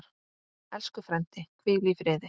Elsku frændi, hvíl í friði.